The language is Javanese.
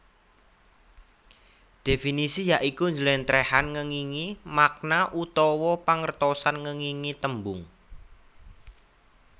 Definisi ya iku njlèntrèhan ngèngingi makna utawa pangertosan ngèngingi tembung